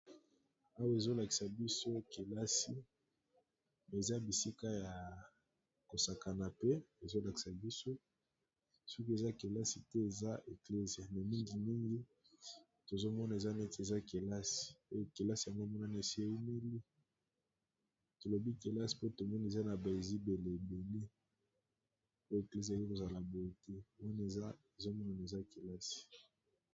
Awa ezolakisa biso kelasi me eza bisika ya kosakana pe ezolakisa biso soki eza kelasi te eza eklise me mingi mingi tozomona eza neti eaelaikelasi yango monana esi eimeli tolobi kelasi po tomona eza na baezibele ebele po eklise eye kozala boye te wana eza ezomonna eza kelasi.